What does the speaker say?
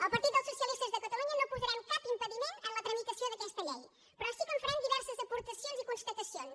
el partit dels socialistes de catalunya no posarem cap impediment en la tramitació d’aquesta llei però sí que hi farem diverses aportacions i constatacions